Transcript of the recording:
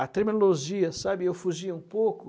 A terminologia, sabe, eu fugia um pouco.